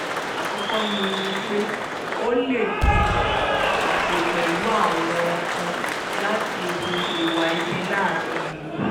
àkọ́kọ́ ni ni pé ó lẹ̀dí àpò pẹ̀lú àwọn kan láti hu ìwà ibi láàrin ìlú